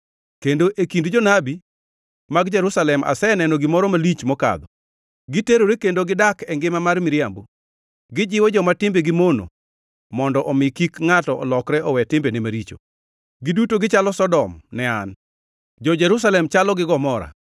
Kendo e kind jonabi mag Jerusalem aseneno gimoro malich mokadho: Giterore kendo gidak e ngima mar miriambo. Gijiwo joma timbegi mono, mondo omi kik ngʼato olokre owe timbene maricho. Giduto gichalo Sodom ne an; jo-Jerusalem chalo gi Gomora.”